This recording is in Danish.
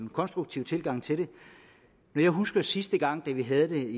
konstruktiv tilgang til det jeg husker at sidste gang vi havde det